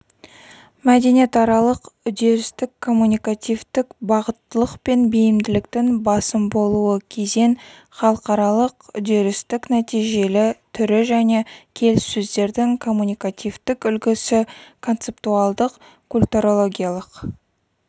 мәдениетаралық үдерістік-коммуникативтік бағыттылық пен бейімділіктің басым болуы кезең халықаралық үдерістік-нәтижелі түрі және келіссөздердің коммуникативтік үлгісі концептуалдық-культурологиялық